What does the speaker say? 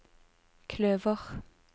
kløver